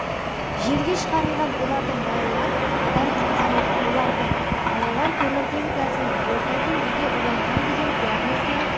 жерге шығарылған олардың балалар адам құтқарылды олардың балалар көміртегі газымен орта деңгейде уланған деген диагнозбен